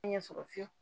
Ɲɛ sɔrɔ fiyewu